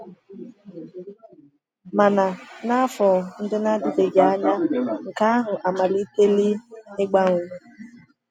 Mana n’afọ ndị na-adịbeghị anya, nke ahụ amalitela ịgbanwe.